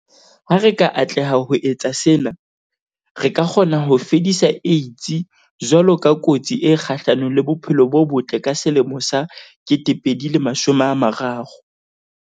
Ha re ka atleha ho etsa sena, re ka kgona ho fedisa AIDS jwalo ka kotsi e kgahlano le bophelo bo botle ka 2030.